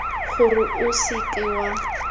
gore o se ke wa